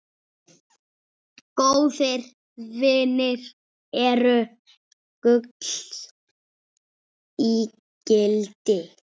Góðir vinir eru gulls ígildi.